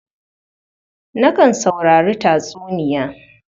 Nakan saurari tatsuniya.